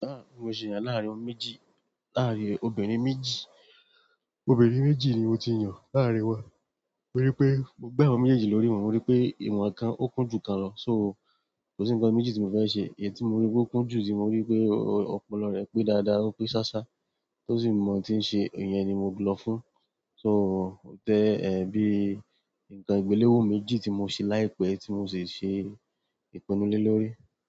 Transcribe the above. Ahn, mo ṣe yan láàárín ọmọ méjì, láàárín obìnrin méjì. Obìnrin méjì ni mo ti yàn láàárín wọn, torí pé mo gbe àwọn méjèèjì lórí ìwọ̀n, mo rí pé ìwọ̀n kan ó kún jù kan lọ, so kò sí nǹkan méjì tí mo fẹ́ ṣe. Ẹyii tí mo rí pé ó kún jù tí mo rí pé ọpọlọ rẹ̀ pé dáadáa, ó pé ṣáṣá, tó sì mọ tí ń ṣe, ìyẹn ni mo lọ fún. So ó tẹ́, ẹ́, bí nǹkan ìgbelèwo méjì tí mo ṣe láìpẹ́ tí mo sì ṣe ìpinnu le lórí.